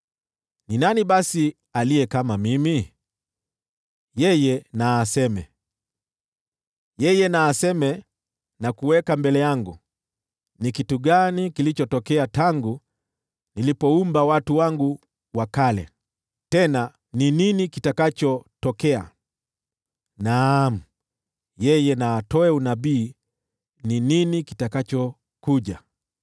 Ni nani basi aliye kama mimi? Yeye na atangaze. Yeye atangaze na kuweka mbele yangu ni kitu gani kilichotokea tangu nilipoumba watu wangu wa kale, tena ni nini kitakachotokea: naam, yeye na atoe unabii ni nini kitakachokuja.